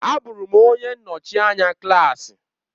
Abụrụ m onye nnọchi anya klaasị.